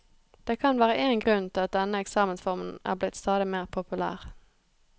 Det kan være én grunn til at denne eksamensformen er blitt stadig mer populær.